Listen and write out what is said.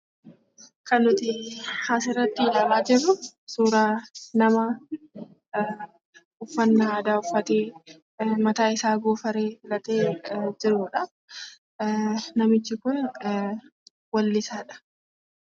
Kan nuti asirratti ilaalaa jirru nama uffata aadaa uffatee, mataa isaa goofaree filate jirudha. Namichi kun weellisaadha.